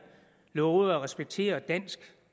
lovede at respektere dansk